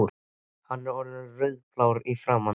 Hann var orðinn rauðblár í framan.